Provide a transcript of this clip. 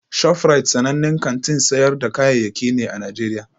ShofRite sanannen kantin sayar da kayayyaki ne a Najeriya